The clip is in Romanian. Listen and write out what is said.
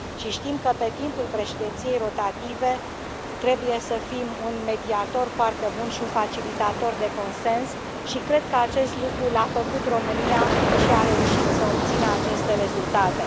Știm că pe timpul președinției rotative trebuie să fim un mediator foarte bun și un facilitator de consens și cred că acest lucru l a făcut România și a reușit să obțină aceste rezultate.